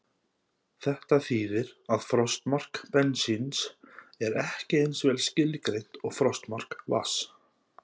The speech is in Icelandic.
Þetta þýðir að frostmark bensíns er ekki eins vel skilgreint og frostmark vatns.